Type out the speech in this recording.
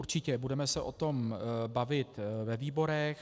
Určitě, budeme se o tom bavit ve výborech.